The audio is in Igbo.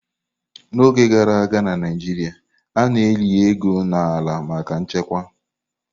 N'oge gara aga na Naijiria, a na-eli ego n'ala maka nchekwa.